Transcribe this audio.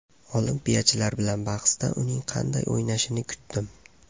Olimpiyachilar bilan bahsda uning qanday o‘ynashini kutdim.